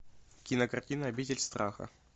кинокартина обитель страха